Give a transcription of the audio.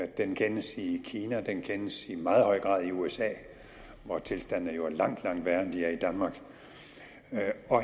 den kendes i kina og den kendes i meget høj grad i usa hvor tilstanden jo er langt langt værre end den er i danmark